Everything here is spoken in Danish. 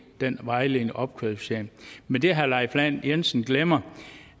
den vejledende opkvalificering men det herre leif lahn jensen glemmer